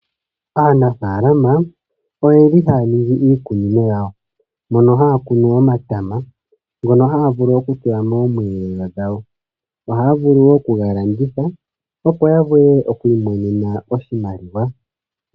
Aanafaalama oyeli haya ningi iikunino yawo, mono haya kunu omatama, ngono haya vulu okutula mosheelelwa shawo. Ohaya vulu wo okuga landitha, opo yavule okwiimonena oshimaliwa.